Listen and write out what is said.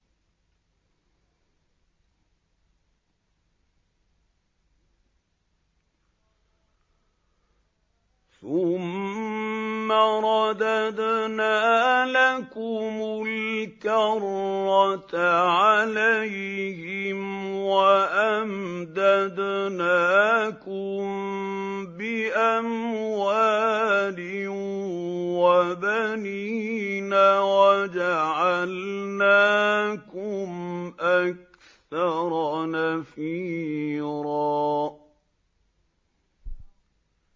ثُمَّ رَدَدْنَا لَكُمُ الْكَرَّةَ عَلَيْهِمْ وَأَمْدَدْنَاكُم بِأَمْوَالٍ وَبَنِينَ وَجَعَلْنَاكُمْ أَكْثَرَ نَفِيرًا